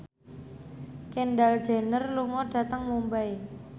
Kendall Jenner lunga dhateng Mumbai